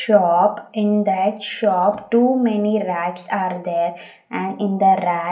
shop in that shop too many rats are there and in the rat --